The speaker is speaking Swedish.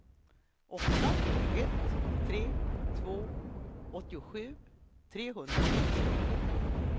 åtta ett tre två åttiosju trehundrasexton